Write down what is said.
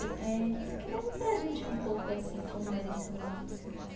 Eh, descreve para a gente um pouco assim como era esse lugar onde você nasceu.